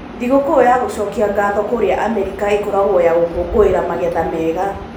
Thigũkũũ ya gũcokia gatho kũrĩa Amerika ĩkoragwo ya gũkũngũĩra magetha mega.